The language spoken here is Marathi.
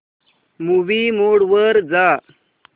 मूवी मोड वर जा